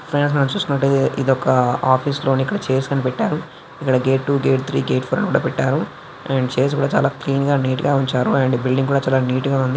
Friends ఇదొక office లోని chairs ని పెట్టారు ఇక్కడ gate one gate two gate three gate four అని కూడా పెట్టారు చైర్స్ కూడా చాలా నీట్ గా క్లీన్ గా ఉంచారు అండ్ బిల్డింగ్ కూడా చాలా నీట్ గా ఉంది.